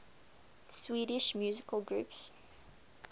swedish musical groups